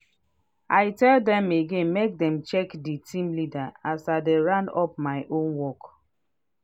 i tell dem again make dem check with d team leader as i dey round up my own work.